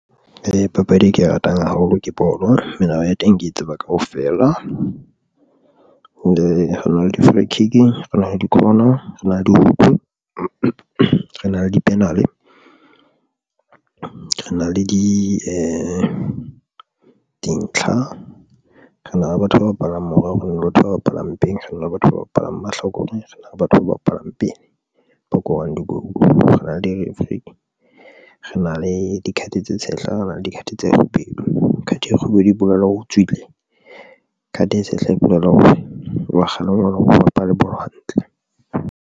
Ee, papadi e ke e ratang haholo, ke bolo, melao ya teng, ke e tseba kaofela re na le di flocking rena le dikhona re na le di-chuck rena le di-panel re na le dintlha, re na le batho ba bapalang morao, re na le batho ba bapalang pele, re na le batho ba bapalang mahlokore, re na le batho ba bapalang pin ba korang dikolo. Re na le di re Afrika re na le di-card tse tshehla rena le di card tse kgubedu card e kgubedu e bolela hore o tswile card e tshehla, e bolela hore wa kgale one o bapale bolo hantle.